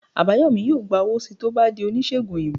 Abayomi yọọ gba owo sii to o bà dí onisegùn oyinbo